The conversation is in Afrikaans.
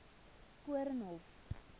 koornhof